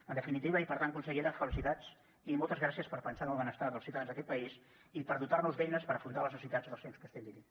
en definitiva i per tant consellera felicitats i moltes gràcies per pensar en el benestar dels ciutadans d’aquest país i per dotar nos d’eines per afrontar les necessitats dels temps que estem vivint